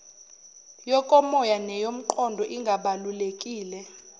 yokomoya neyomqondo ingabalulekile